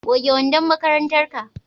goge wandon makarantar ka!